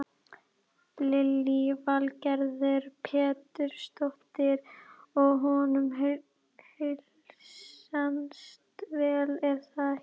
Lillý Valgerður Pétursdóttir: Og honum heilsast vel er það ekki?